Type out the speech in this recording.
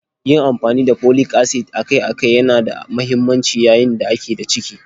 Yin amfani da Folic acid akai-akai yana da mahimmanci yayin da a ke da ciki.